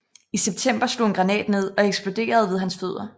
I september slog en granat ned og eksploderede ved hans fødder